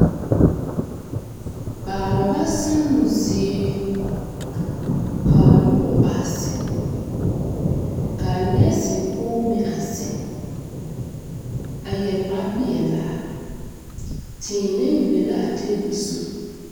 Baalba sanoo zie kaa nobɔ a zeŋ kaa nɛɛsi pɔɔ meŋ a zeŋ a yɛre kpapeɛlaa tēēnɛɛ be la a tabol zu.